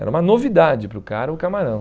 Era uma novidade para o cara o camarão.